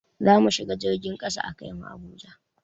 Zamu shiga jirgin kasa a kai mu Abuja